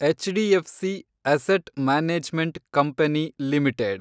HDFC asset management company limited